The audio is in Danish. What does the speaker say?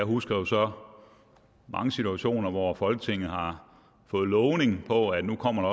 husker jo så mange situationer hvor folketinget har fået lovning på at nu kommer